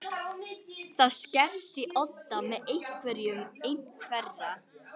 Það skerst í odda með einhverjum einhverra